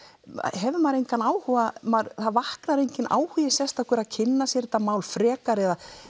hefur maður engan áhuga það vaknar enginn áhugi sérstakur að kynna sér þetta mál frekar